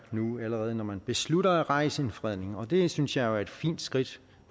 allerede nu når man beslutter at rejse en fredning og det synes jeg jo er et fint skridt